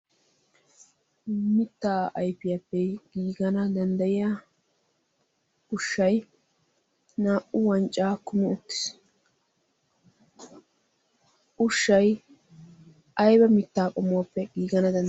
mittaa ayfiyaappe giigana danddayiya ushshai naa'u wancca kumi uttis. ushshai aiba mittaa qomuwaappe giigana dandayees.